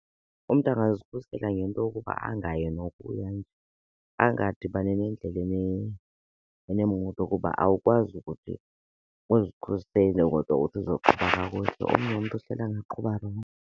Umntu angazikhusela ngento yokuba angayi nokuya, angadibani nendlela eneemoto kuba awukwazi ukuthi uzikhusele kodwa uthi uzoqhuba kakuhle, omnye umntu angaqhuba rongo.